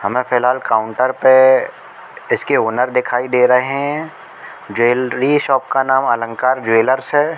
हमें फिलहाल काउंटर पे इसके ओनर दिखाई दे रहे हैं। ज्वेलरी शॉप का नाम अलंकार ज्वेलर्स है।